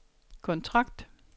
kontrakt